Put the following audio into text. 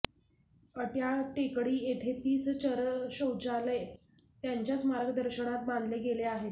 अड्याळ टेकडी येथे तीस चरशौचालय त्यांच्याच मार्गदर्शनात बांधले गेले आहेत